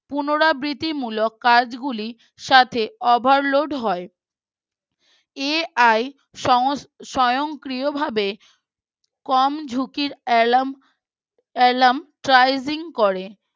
পুনরাবৃতিমূলক কাজগুলি সাথে Overload হয় AI স্বয়ংক্রিয়ভাবে কম ঝুঁকির Alarm Prising করে